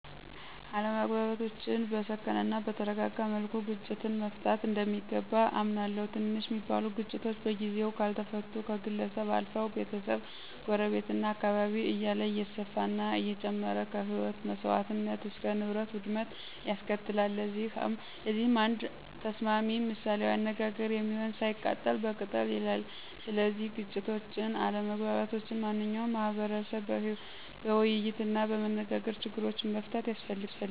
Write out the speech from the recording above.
አለመግባባቶችን በሰከነ እናበተረጋጋ መልኩ ግጭትን መፍታት እንደሚገባ አምናለሁ። ትንሽ ሚባሉ ግጭቶች በጊዜው ካልተፈቱ ከግለሰብ አልፈው፣ ቤተሰብ፣ ጎረቤት፣ እና አካባቢ እያለ እየሰፈና እየጨመረ ከህይወት መሰዋትነት እስከ ንብረት ውድመት ያስከትላል። ለዚህ አንድ ተስማሚ ምሳሌአዊ አነጋገር የሚሆን፦ ሳይቀጠል በቅጠል ይላል። ስለዚህ ግጭቶችን፣ አለመግባባቶችን ማንኛው ማህቀረሰብ በወይይትናበመነጋገር ችግሮችን መፍታት ያስፈልጋል።